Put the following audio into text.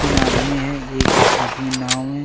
तीन आदमी है एक आदमी नाव में--